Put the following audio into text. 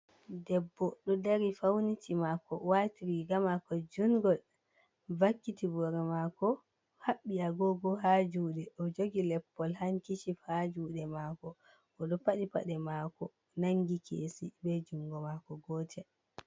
Debbo ɗo dari fauniti mako wati riga mako jungol vakkiti boro mako, haɓɓi agogo ha juɗe ɗo jogi leppol hankishif ha juɗe mako, oɗo paɗi paɗe mako nangi kesi be jungo mako.